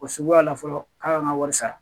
O suguya la fɔlɔ f'a ka n ka wari sara